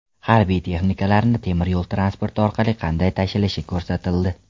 Harbiy texnikalarni temir yo‘l transporti orqali qanday tashilishi ko‘rsatildi .